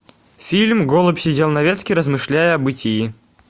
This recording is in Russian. фильм голубь сидел на ветке размышляя о бытии